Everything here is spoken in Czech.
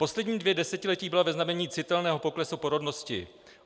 Poslední dvě desetiletí byla ve znamení citelného poklesu porodnosti.